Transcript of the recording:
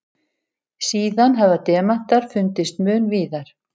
Síðan hafa demantar fundist mun víðar.